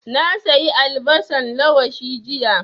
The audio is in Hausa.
Na sayi albasan lawashi jiya